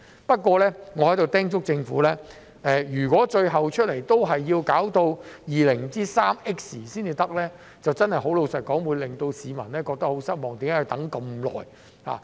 不過，我在此叮囑政府，如果最後也要到 203X 年才能完成，坦白說，這真的會令市民感到很失望，為何要等這麼久？